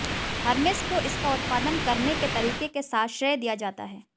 Hermès को इसका उत्पादन करने के तरीके के साथ श्रेय दिया जाता है